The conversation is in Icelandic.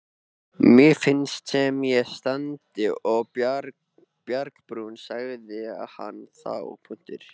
Mér finnst sem ég standi á bjargbrún, sagði hann þá.